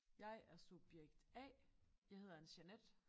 Jeg er subjekt A jeg hedder Anne Jeanette